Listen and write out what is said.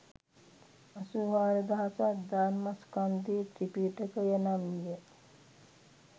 අසූ හාරදහසක් ධර්මස්කන්ධය ත්‍රිපිටකය නම් විය